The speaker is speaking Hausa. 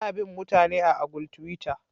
Ana bin' mutane a'agul tiwitta.